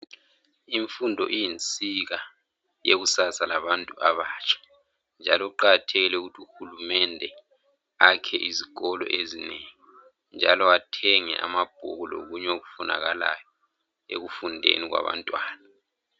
Imfundo iyinsika yekusasa labantu abatsha njalo kuqakhathekile ukuthi uhulumende akhe izikolo ezinengi njalo athenge amabhuku lokunye okufunakalayo ekufundeni kwabantwana.